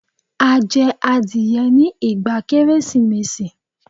A jẹ adìẹ ní ìgbà Kérésìmesì.